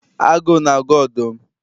Agụụ na-agụ ọdụm?